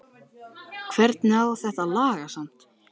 Hvernig á þetta að lagast samt??